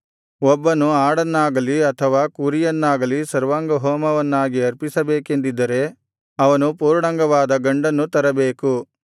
ಒಬ್ಬನು ಆಡನ್ನಾಗಲಿ ಅಥವಾ ಕುರಿಯನ್ನಾಗಲಿ ಸರ್ವಾಂಗಹೋಮವನ್ನಾಗಿ ಅರ್ಪಿಸಬೇಕೆಂದಿದ್ದರೆ ಅವನು ಪೂರ್ಣಾಂಗವಾದ ಗಂಡನ್ನು ತರಬೇಕು